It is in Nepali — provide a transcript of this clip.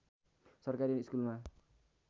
सरकारी स्कुलमा